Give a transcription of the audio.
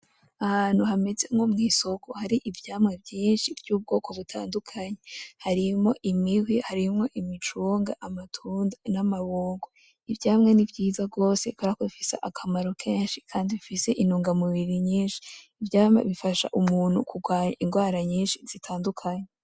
Ahantu hameze nko mw’isoko hari ivyamwa vyinshi vy’ubwoko butandukanye harimwo imihwi; harimwo imicunga; amatunda n’amabungo. Ivyamwa nivyiza gwose kuberako bifise akamaro kenshi kandi bifise intunga mubiri nyinshi. Ivyamwa bifasha umuntu kugwanya ingwara nyinshi zitandukanye.